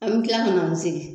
An bi kila ka n'a mzieri